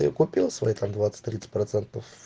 купил свои там двадцать тридцать процентов